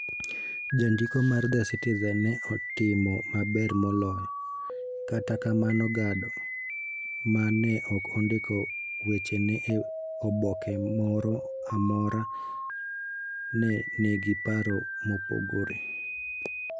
Jandiko mar The Citizen ne otimo maber moloyo, kata kamano Gado, ma ne ok ondiko wechene e oboke moro amora, ne nigi paro mopogore.